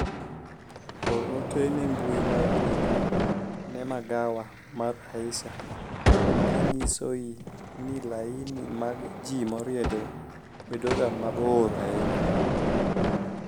or ote ne mbui mar twita ne magawa mar Aisha kinyisoi ni laini mag jii moriedo bedoga mabor ahinya